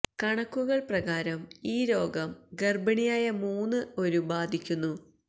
കണക്കുകൾ പ്രകാരം ഈ രോഗം ഗർഭിണിയായ മൂന്ന് ഒരു ബാധിക്കുന്നു